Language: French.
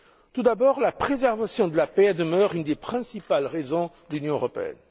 Tout d'abord, la préservation de la paix demeure une des principales raisons de l'Union européenne.